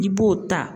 I b'o ta